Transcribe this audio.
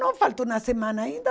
Não, falta uma semana ainda.